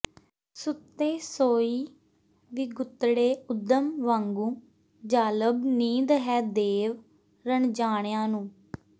ਸੁੱਤੇ ਸੋਈ ਵਿਗੁਤੜੇ ਉਦ੍ਹਮ ਵਾਂਗੂੰ ਜ਼ਾਲਬ ਨੀਂਦ ਹੈ ਦੇਵ ਰਣਜਾਣਿਆਂ ਨੂੰ